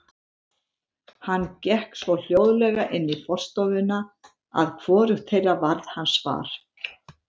Hann gekk svo hljóðlega inn í forstofuna að hvorugt þeirra varð hans var.